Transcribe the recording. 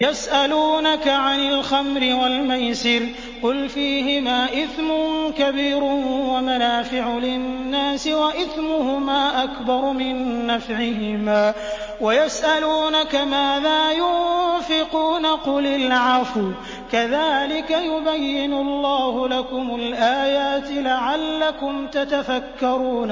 ۞ يَسْأَلُونَكَ عَنِ الْخَمْرِ وَالْمَيْسِرِ ۖ قُلْ فِيهِمَا إِثْمٌ كَبِيرٌ وَمَنَافِعُ لِلنَّاسِ وَإِثْمُهُمَا أَكْبَرُ مِن نَّفْعِهِمَا ۗ وَيَسْأَلُونَكَ مَاذَا يُنفِقُونَ قُلِ الْعَفْوَ ۗ كَذَٰلِكَ يُبَيِّنُ اللَّهُ لَكُمُ الْآيَاتِ لَعَلَّكُمْ تَتَفَكَّرُونَ